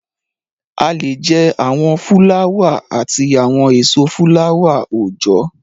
A lè jẹ́ àwọn fúláwà àti àwọn èso fúláwà-oòjọ́